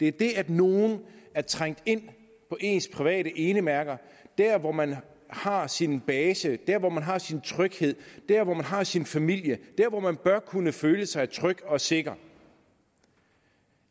det er det at nogen er trængt ind på ens private enemærker dér hvor man har sin base dér hvor man har sin tryghed dér hvor man har sin familie dér hvor man bør kunne føle sig tryg og sikker